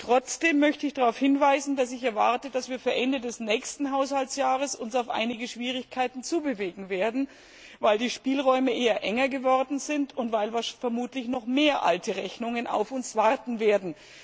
Trotzdem möchte ich darauf hinweisen, dass ich erwarte, dass wir uns Ende des nächsten Haushaltsjahres auf einige Schwierigkeiten zubewegen werden, weil die Spielräume eher enger geworden sind und weil vermutlich noch mehr alte Rechnungen auf uns warten werden.